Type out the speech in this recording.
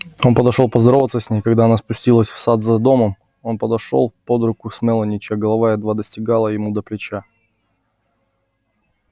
он подошёл поздороваться с ней когда она спустилась в сад за домом он подошёл под руку с мелани чья голова едва достигала ему до плеча